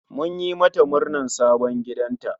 Mun yi mata murnar sabon gidanta